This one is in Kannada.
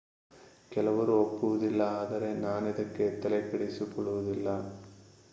ಕೆಲವರು ಒಪ್ಪುವುದಿಲ್ಲ ಆದರೆ ನಾನಿದಕ್ಕೆ ತಲೆಕೆಡಿಸಿಕೊಳ್ಳುವುದಿಲ್ಲ